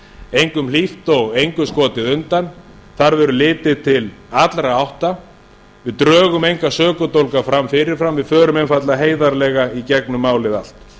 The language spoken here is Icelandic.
engum hlýtt og engu skotið undan þar verður litið til allra átta við drögum enga sökudólga fram fyrirfram við förum einfaldlega heiðarlega í gegnum málið allt